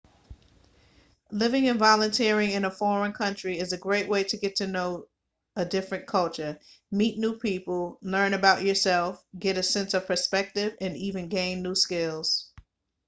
living and volunteering in a foreign country is a great way to get to know a different culture meet new people learn about yourself get a sense of perspective and even gain new skills